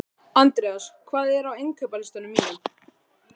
Andreas, hvað er á innkaupalistanum mínum?